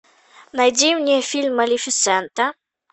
найди мне фильм малефисента